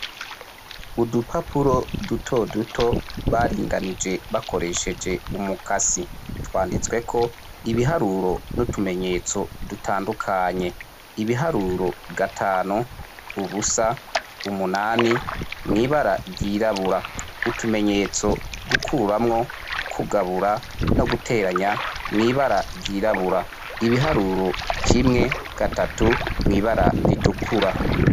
Udupapuro dutoduto baringanije bakoresheje umukasi. Twanditsweko ibiharuro n’utumenyetso dutandukanye. Ibiharuro gatanu, ubusa, umunani mw’ibara ryirabura. Utumenyetso gukuramwo, kugabura no guteranya mw’ibara ryirabura, ibiharuro kimwe, gatatu mw’ibara ritukura.